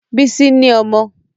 Bísí ni ọmọ